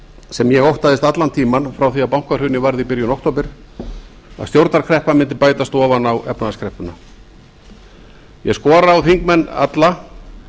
sem ég óttaðist allan tímann frá því að bankahrunið varð í byrjun október að stjórnarkreppa mundi bætast ofan á efnahagskreppuna ég skora á þingmenn alla